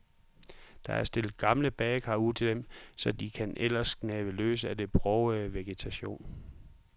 Der er stillet gamle badekar ud til dem, og så kan de ellers gnave løs af den brogede vegetation.